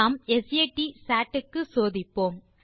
நாம் சாட் க்கு சோதிப்போம்